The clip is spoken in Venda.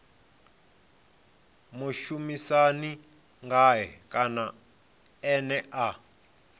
mushumisani ngae kana ene a